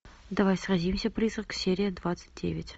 давай сразимся призрак серия двадцать девять